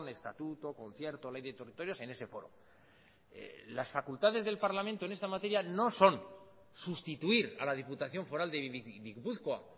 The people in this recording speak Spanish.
estatuto concierto ley de territorios en ese foro las facultades del parlamento en esta materia no son sustituir a la diputación foral de gipuzkoa